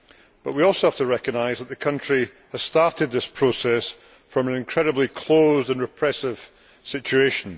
But we also have to recognise that the country has started this process from an incredibly closed and repressive situation.